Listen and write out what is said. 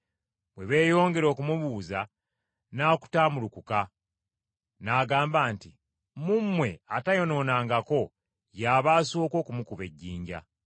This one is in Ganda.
Bwe beeyongera okumubuuza, n’akutaamulukuka, n’agamba nti, “Mu mmwe atayonoonangako y’aba asooka okumukuba ejjinja.”